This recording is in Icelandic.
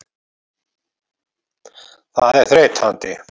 Það er þreytandi.